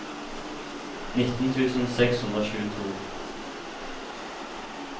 nitten tusen seks hundre og tjueto